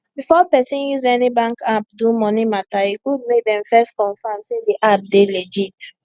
before person use any bank app do money matter e good make dem first confirm say the app dey legit